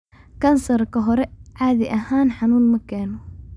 Kansarka hore caadi ahaan xanuun ma keeno.